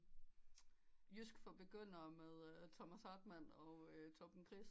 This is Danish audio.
Jysk for begynder med Thomas Hartmann og Torben Chris